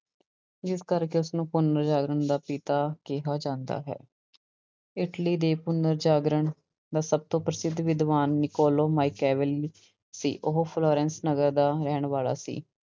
ਜਿਸ ਕਰਕੇ ਉਸਨੂੰ ਪੁਨਰ ਜਾਗਰਣ ਦਾ ਪਿਤਾ ਕਿਹਾ ਜਾਂਦਾ ਹੈ, ਇਟਲੀ ਦੇ ਪੁਨਰ ਜਾਗਰਣ ਦਾ ਸਭ ਤੋਂ ਪ੍ਰਸਿੱਧ ਵਿਦਵਾਨ ਨਿਕੋਲੋ ਮਾਇਕੈਵਲ ਸੀ ਉਹ ਫਲੋਰੈਂਸ ਨਗਰ ਦਾ ਰਹਿਣ ਵਾਲਾ ਸੀ।